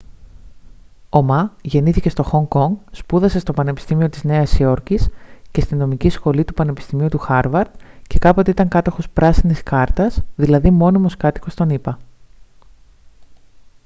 ο μα γεννήθηκε στο χονγκ κονγκ σπούδασε στο πανεπιστήμιο της νέας υόρκης και στη νομική σχολή του πανεπιστημίου του χάρβαρντ και κάποτε ήταν κάτοχος «πράσινης κάρτας» δηλαδή μόνιμος κάτοικος των ηπα